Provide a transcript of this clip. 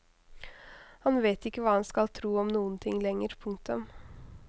Han vet ikke hva han skal tro om noen ting lenger. punktum